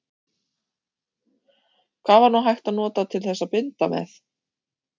Hvað var nú hægt að nota til þess að binda með?